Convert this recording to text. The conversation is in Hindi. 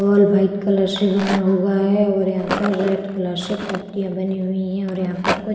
हॉल व्हाइट कलर से बना हुआ है और यहां पर रेड कलर से पट्टीयां बनी हुई हैं और यहां पर कोई --